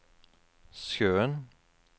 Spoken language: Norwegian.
sjøen